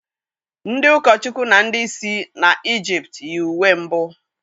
Ndị ụkọchukwu na ndị isi na Ịjịpt yi uwe mbụ